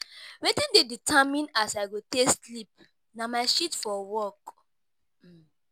Wetin dey determine as I go take sleep na my shift for work.